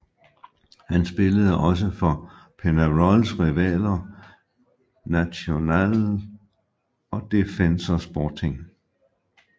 Han spillede også for Peñarols rivaler Nacional og Defensor Sporting